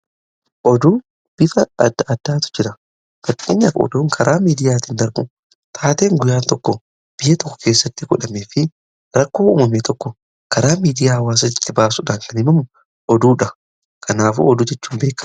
oduu bifa adda addaatu jira fakkeenyaaf oduukaraa miidiyaatiin darbu taateen guyyaan tokko biyya tokko keessatti godhame fi rakkoo uumamee tokko karaa miidiyaa hawaasaatti baasudhaan kan himamu oduudha kanaaf oduu jechuu in beekaa